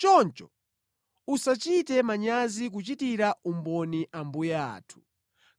Choncho usachite manyazi kuchitira umboni Ambuye athu,